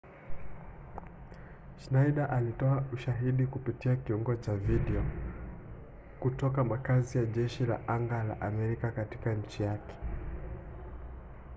schneider alitoa ushahidi kupitia kiungo cha video kutoka makazi ya jeshi la anga la amerika katika nchi yake